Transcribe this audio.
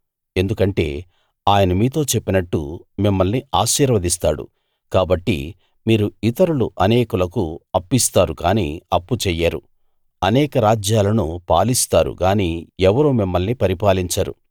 ఎందుకంటే ఆయన మీతో చెప్పినట్టు మిమ్మల్ని ఆశీర్వదిస్తాడు కాబట్టి మీరు ఇతరులు అనేకులకు అప్పిస్తారు గాని అప్పు చెయ్యరు అనేక రాజ్యాలను పాలిస్తారు గాని ఎవరూ మిమ్మల్ని పరిపాలించరు